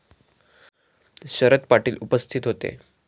शरद पाटील उपस्थित होतेे.